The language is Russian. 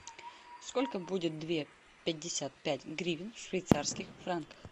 сколько будет две пятьдесят пять гривен в швейцарских франках